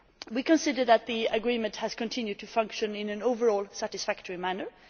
We consider that the agreement has continued to function in what is overall a satisfactory manner.